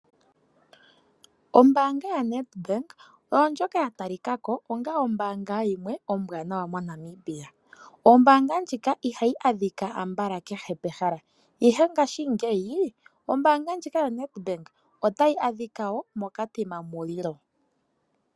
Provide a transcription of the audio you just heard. Ombaanga yaNedbank oyo ndjoka yatalikako onga ombaanga yimwe ombwaanawa moNamibia. Ombaanga ndjika ihayi adhika ambala kehe pehala ihe ngaashingeyi ombaanga ndjika yoNedbank otayi adhika wo moKatima Mulilo.